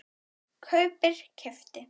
kaupir- keypti